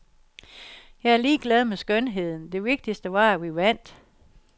Jeg er ligeglad med skønheden, det vigtigste var, at vi vandt.